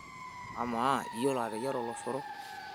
Amaa, iyiolo ateyiara oloshoro?